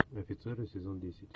офицеры сезон десять